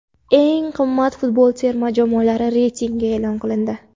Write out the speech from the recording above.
Eng qimmat futbol terma jamoalari reytingi e’lon qilindi.